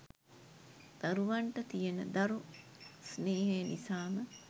දරුවන්ට තියෙන දරු ස්නේහය නිසාම